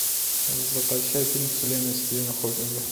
закачай фильм вселенная стивена хокинга